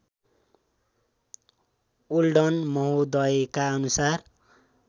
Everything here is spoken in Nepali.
ओल्डन महोदयका अनुसार